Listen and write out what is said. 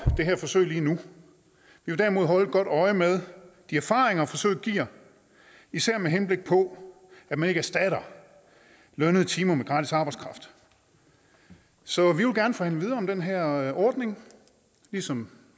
det her forsøg lige nu vi vil derimod holde godt øje med de erfaringer forsøget giver især med henblik på at man ikke erstatter lønnede timer med gratis arbejdskraft så vi vil gerne forhandle videre om den her ordning ligesom